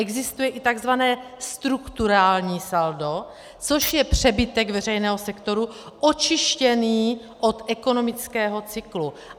Existuje i takzvané strukturální saldo, což je přebytek veřejného sektoru očištěný od ekonomického cyklu.